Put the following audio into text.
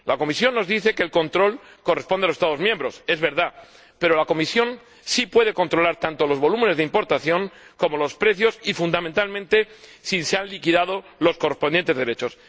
La Comisión nos dice que el control corresponde a los Estados miembros, es verdad, pero la Comisión sí puede controlar tanto los volúmenes de importación como los precios y, fundamentalmente, si se han liquidado los correspondientes derechos.